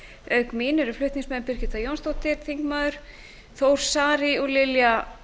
auk mín eru flutningsmenn háttvirtur þingmaður birgitta jónsdóttir þór saari og lilja